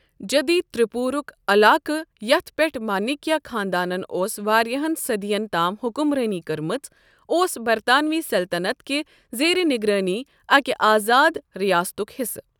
جدیٖد ترٛیپورُک علاقہٕ یَتھ پیٹھ مانیکیا خانٛدانن اوس واریاہن صدۍین تام حُکمرٲنی کٔرمٕژ، اوس برطانوی سلطنت کِہ زیرِ نگرٲنی اکِہ آزاد ریاستُک حِصہٕ۔